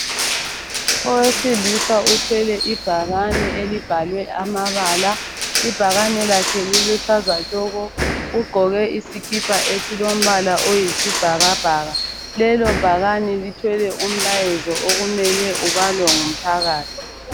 Owesilisa uthwele ibhakane elibhalwe amabala. Ibhakane lakhe liluhlaza tshoko. Ugqoke isikipa esilombala oyisibhakabhaka. Lelo bhakane lithwele umlayezo okumele ubalwe ngumphakathi.